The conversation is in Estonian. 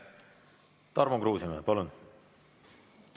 Tarmo Kruusimäe, palun!